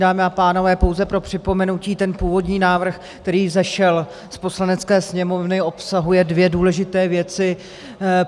Dámy a pánové, pouze pro připomenutí, ten původní návrh, který vzešel z Poslanecké sněmovny, obsahuje dvě důležité věci.